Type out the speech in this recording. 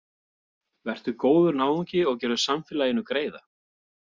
Vertu góður náungi og gerðu samfélaginu greiða.